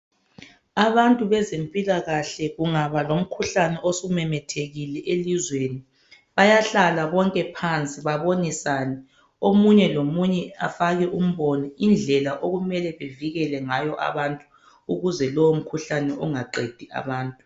Abantu bezempilakahle kungaba lomkhuhlane osumemethekile elizweni bayahlala bonke phansi babonisane. Omunye lomunye afake umbono indlela okumele bevikele ngayo abantu ukuze lowo mkhuhlane ungaqedi abantu.